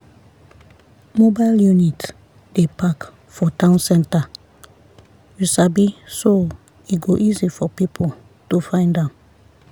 mobile unit dey park for town center you sabi so e go easy for people to find am.